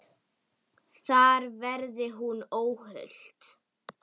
Þar verði hún óhult.